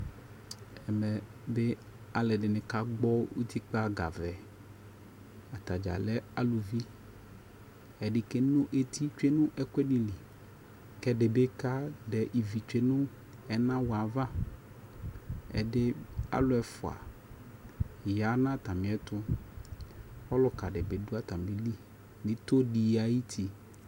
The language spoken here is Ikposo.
ɛmɛ bi alʋɛdini ka gbɔ ʋtikpa ga vɛ ,atagya lɛ alʋvi, ɛdi kɛnɔ ɛti twɛnʋ ɛkʋɛdi li kɛ ɛdibi kadɛ ivi twɛnʋ ɛnawʋɛ aɣa, ɛdi, alʋɛ ɛƒʋa yanʋatami ɛtʋ, alʋka dibi dʋ atamili nʋ itɔ di ayiti